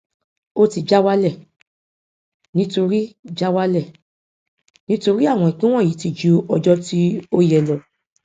ó ti já wálẹ nítorí já wálẹ nítorí àwọn ìpín wọnyí ti ju ọjọ tí ó yẹ lọ